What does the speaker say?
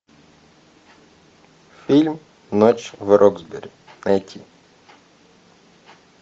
фильм ночь в роксбери найти